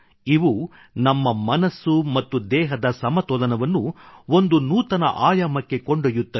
ಇವು ನಮ್ಮ ಮನಸ್ಸು ಮತ್ತು ದೇಹದ ಸಮತೋಲನವನ್ನು ಒಂದು ನೂತನ ಆಯಾಮಕ್ಕೆ ಕೊಂಡೊಯ್ಯುತ್ತವೆ